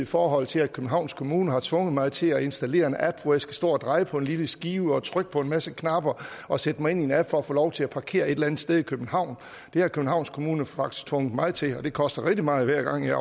forhold til at københavns kommune har tvunget mig til at installere en app hvor jeg skal stå og dreje på en lille skive og trykke på en masse knapper og sætte mig ind i en app for at få lov til at parkere et eller andet sted i københavn det har københavns kommune faktisk tvunget mig til og det koster rigtig meget hver gang jeg